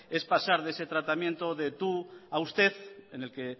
es pasar de ese tratamiento de tú a usted en el que